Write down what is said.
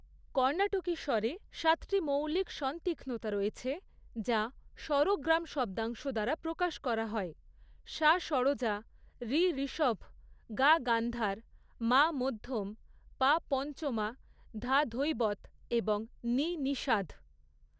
কর্ণাটকী স্বরে সাতটি মৌলিক স্বনতীক্ষ্নতা রয়েছে, যা স্বরগ্রাম শব্দাংশ দ্বারা প্রকাশ করা হয়, সা ষড়জা, রি ঋষভ, গা গান্ধার, মা মধ্যম, পা পঞ্চমা, ধা ধৈবত এবং নি নিষাধ।